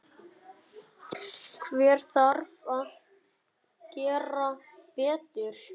Hver þarf að gera betur?